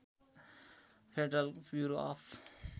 federal bureau of